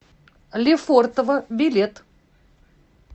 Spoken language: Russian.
лефортово билет